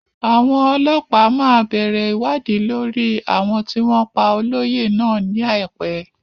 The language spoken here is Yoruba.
Àwọn ọlọ́pàá máa bẹ̀rẹ̀ ìwádìí lórí àwọn tí wọ́n pá olóyè náà ní àìpẹ́.